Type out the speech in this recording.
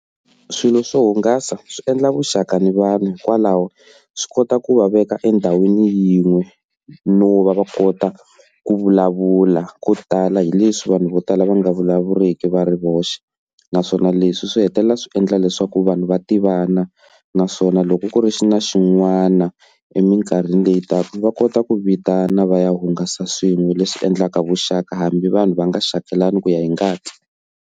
Swilo swo hungasa swi endla vuxaka ni vanhu hikwalaho swi kota ku va veka endhawini yin'we no va va kota ku vulavula ko tala hi leswi vanhu vo tala va nga vulavuleki va ri voxe, naswona leswi swi hetelela swi endla leswaku vanhu va tivana naswona loko ku ri xi na xin'wana eminkarhini leyi taka va kota ku vitana va ya hungasa swin'we leswi endlaka vuxaka hambi vanhu va nga xakelani ku ya hi ngati.